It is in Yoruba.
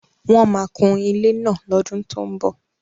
Wọ́n máa kùn ilé náà lọ́dún tó ń bọ̀.